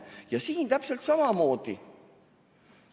Ja siin on täpselt samamoodi.